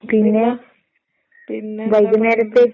പിന്നെ പിന്നെന്താ